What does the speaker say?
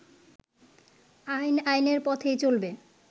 আইন আইনের পথেই চলবে